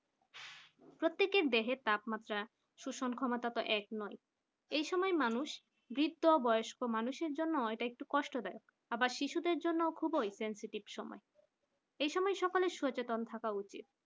প্রতেককের দেহের তাপমাত্রা সুষেন ক্ষমতা তো এক নয় এই সময় মানুষ বৃদ্ধ বয়স্ক মানুষের জন্য হয়তো একটু কষ্টদায়ক আবার শিশুদের জন্য খুবই sensitive সময় এই সময় সকলে সচেতন থাকা উচিত